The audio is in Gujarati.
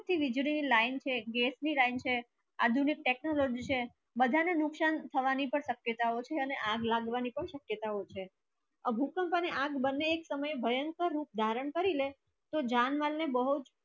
વિજ ની લાઈન છે ગેસ ની લાઈન છે આધુનિક technology છે બધને નુકસાન થાવાની પણ શકયતાઓ છે આગ લગવાની પણ શકિતઓ છે ભૂકંપ અને આગે બને તમે ભયંકર રૂપ ધારણ કરી લે જાન વાન ને બહુ જ